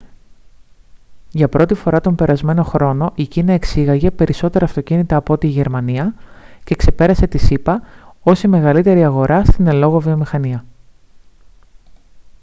για πρώτη φορά τον περασμένο χρόνο η κίνα εξήγαγε περισσότερα αυτοκίνητα από ό,τι η γερμανία και ξεπέρασε τις ηπα ως η μεγαλύτερη αγορά στην εν λόγω βιομηχανία